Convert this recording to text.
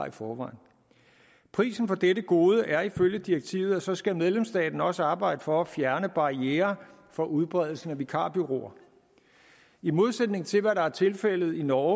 i forvejen prisen for dette gode er ifølge direktivet at så skal medlemsstaten også arbejde for at fjerne barrierer for udbredelsen af vikarbureauer i modsætning til hvad der er tilfældet i norge